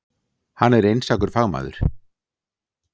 Hann er einstakur fagmaður.